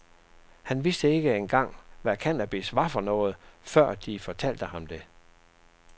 Han vidste ikke engang hvad cannabis var for noget, før de fortalte ham det.